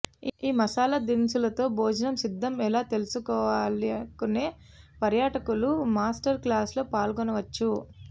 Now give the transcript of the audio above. ఈ మసాలా దినుసులతో భోజనం సిద్ధం ఎలా తెలుసుకోవాలనుకునే పర్యాటకులు మాస్టర్ క్లాస్లో పాల్గొనవచ్చు